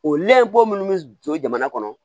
O lɛbɔ minnu bɛ jɔ jamana kɔnɔ